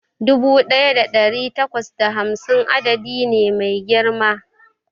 Dubu ɗaya da ɗari takwas da hamsin da ɗaya adadi ne mai girma